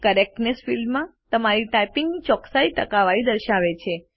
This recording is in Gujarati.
કરેક્ટનેસ ફિલ્ડ તમારી ટાઇપિંગ ની ચોકસાઈ ટકાવારી દર્શાવે છે